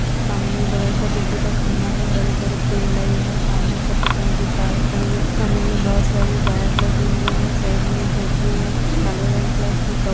सामने एक बड़ा सा बिजली का खम्बा है बड़े बड़े पेड़ लगे हैं। सामने एक सफ़ेद रंग की कार खड़ी है। खम्बे में बहोत सारे वायर लगे हुए हैं। साइड मे एक झोपड़ी है काले रंग की और इसमें कव --